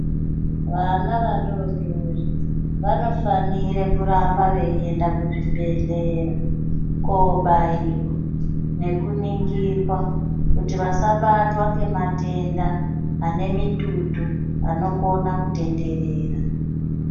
Vana vadodori vanofanire kuramba veiende kuzvibhedhlera, kobaiwa nekuningirwa kuti vasabatwa ngematenda anemitutu anokona kutenderera.